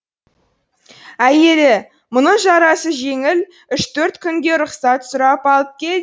әйелі мұның жарасы жеңіл үш төрт күнге рұқсат сұрап алып кел